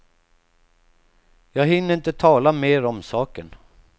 Jag hinner inte tala mer om saken.